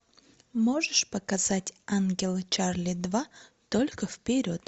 можешь показать ангелы чарли два только вперед